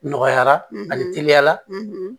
Nɔgɔyara ani teliyala